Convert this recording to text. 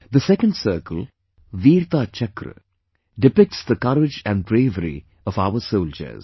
The second circle, Veerta Chakra, depicts the courage and bravery of our soldiers